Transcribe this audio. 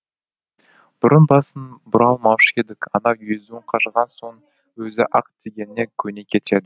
бұрын басын бұра алмаушы едік анау езуін қажаған соң өзі ақ дегеніңе көне кетеді